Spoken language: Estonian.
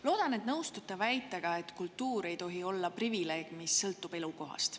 Loodan, et te nõustute väitega, et kultuur ei tohi olla privileeg, millest sõltub elukohast.